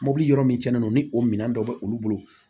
Mobili yɔrɔ min tiɲɛna n'o minɛn dɔ bɛ olu bolo